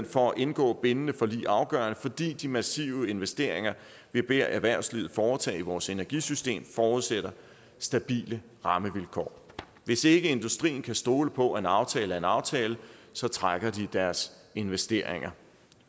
for at indgå bindende forlig afgørende fordi de massive investeringer vi beder erhvervslivet foretage i vores energisystem forudsætter stabile rammevilkår hvis ikke industrien kan stole på at en aftale er en aftale så trækker de deres investeringer